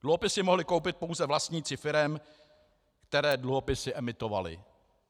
Dluhopisy mohli koupit pouze vlastníci firem, které dluhopisy emitovaly.